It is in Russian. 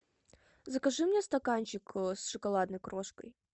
закажи мне стаканчик с шоколадной крошкой